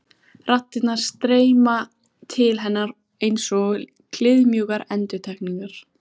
Raddirnar streyma til hennar einsog kliðmjúkar endurtekningar.